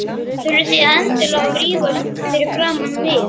Þurfið þið endilega að rífast fyrir framan mig?